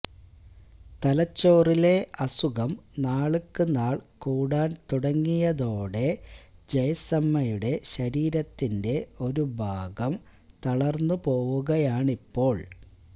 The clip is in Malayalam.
തലച്ചോറിലെ അസുഖം നാള്ക്കുനാള് കൂടാന് തുടങ്ങിയതോടെ ജയ്സമ്മയുടെ ശരീരത്തിന്റെ ഒരു ഭാഗം തളര്ന്നു പോവുകയാണിപ്പോള്